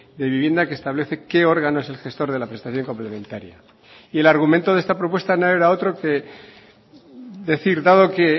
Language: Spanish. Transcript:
de vivienda que establece qué órgano es el gestor de la prestación complementaria y el argumento de esta propuesta no era otro que decir dado que